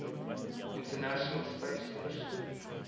international space station